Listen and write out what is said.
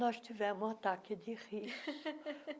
nós tivemos um ataque de riso.